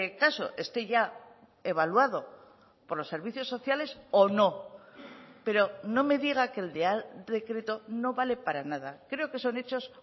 caso esté ya evaluado por los servicios sociales o no pero no me diga que el real decreto no vale para nada creo que son hechos